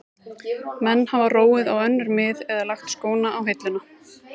Menn hafa róið á önnur mið eða lagt skóna á hilluna.